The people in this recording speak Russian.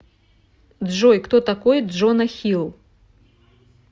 джой кто такой джона хилл